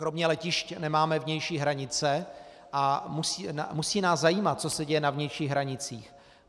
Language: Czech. Kromě letišť nemáme vnější hranice a musí nás zajímat, co se děje na vnějších hranicích.